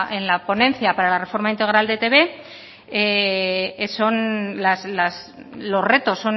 en la ponencia para la reforma integral de etb son los retos